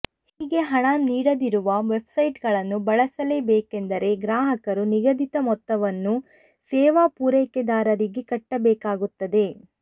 ಹೀಗೆ ಹಣ ನೀಡದಿರುವ ವೆಬ್ಸೈಟ್ಗಳನ್ನು ಬಳಸಲೇ ಬೇಕೆಂದರೆ ಗ್ರಾಹಕರು ನಿಗದಿತ ಮೊತ್ತವನ್ನು ಸೇವಾ ಪೂರೈಕೆದಾರರಿಗೆ ಕಟ್ಟಬೇಕಾಗುತ್ತದೆ